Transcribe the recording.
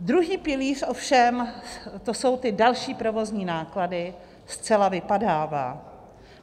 Druhý pilíř ovšem - to jsou ty další provozní náklady - zcela vypadává.